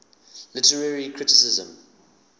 literary criticism